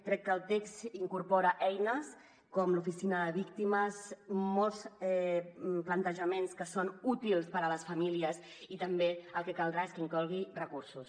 crec que el text incorpora eines com l’oficina de víctimes molts plantejaments que són útils per a les famílies i també el que caldrà és que inclogui recursos